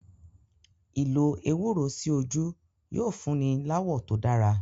Ìlò ewúro sí ojú yóò fúnni láwọ̀ tó dára.